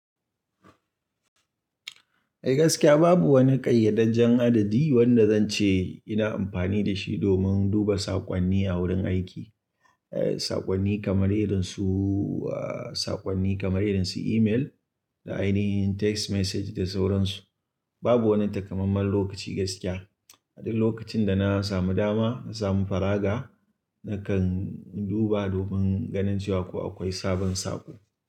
Eh gaskiya babu wani ƙayyadajjen adadi wanda zan ce ina amfani da shi domin duba saƙonni a wurin aiki. Eh saƙonni kamar irin su, ah saƙonni kamar irin su email da ainihin text message da sauran su. Babu wani takamaiman lokaci gaskiya. A duk lokacin da na samu dama, na samu faraga nakan duba domin ganin ko akwai sabon saƙo.